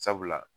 Sabula